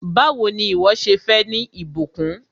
Báwò ni ìwọ́ ṣe fẹ́ ní ìbùkún?